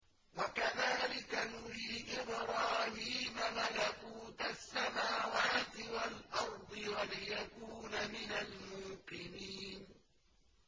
وَكَذَٰلِكَ نُرِي إِبْرَاهِيمَ مَلَكُوتَ السَّمَاوَاتِ وَالْأَرْضِ وَلِيَكُونَ مِنَ الْمُوقِنِينَ